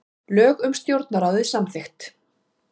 Lög um stjórnarráðið samþykkt